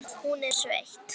Hún er sveitt.